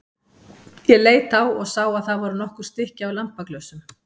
Ég leit á og sá að það voru nokkur stykki af lampaglösum.